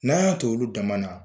N'a y'a t'olu dama na.